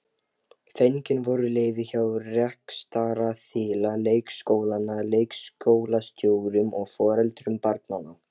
Fengin voru leyfi hjá rekstraraðila leikskólanna, leikskólastjórum og foreldrum barnanna.